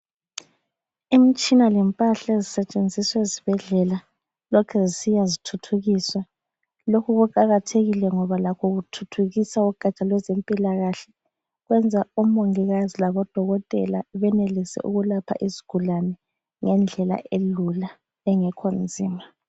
Imitshina lempahla ezisetshenziswa ezibhedlela lokhe zisiya zithuthukiswa .lokhu kuqakathekile ngoba lakho kuthuthukisa ugatsha lwezempilakahle .Kwenza omongikazi labo dokotela benelise ukwelapha izigulane ngendlela elula engekho nzima.